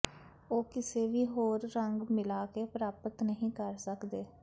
ਉਹ ਕਿਸੇ ਵੀ ਹੋਰ ਰੰਗ ਮਿਲਾ ਕੇ ਪ੍ਰਾਪਤ ਨਹੀ ਕਰ ਸਕਦੇ